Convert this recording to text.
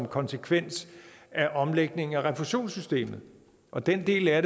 konsekvens af omlægningen af refusionssystemet og den del af